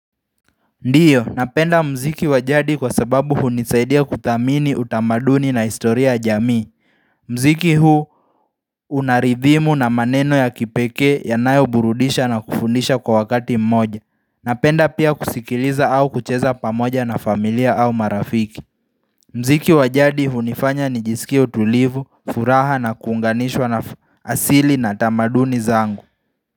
Ndiyo, napenda muziki wajadi kwa sababu hunisaidia kuthamini utamaduni na historia ya jamii muziki huu unaridhimu na maneno ya kipekee ya nayo burudisha na kufundisha kwa wakati mmoja Napenda pia kusikiliza au kucheza pamoja na familia au marafiki muziki wajadi hunifanya ni jisikie utulivu, furaha na kuunganishwa na asili na tamaduni zangu.